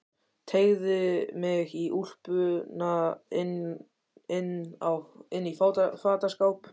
Teygði mig í úlpuna inn í fataskáp.